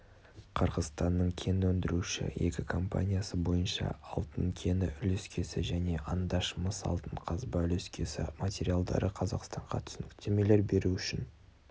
қырғызстанның кен өндіруші екі компаниясы бойынша алтын кені үлескесі және андаш мыс алтын қазба үлескесі материалдары қазақстанға түсініктемелер беру үшін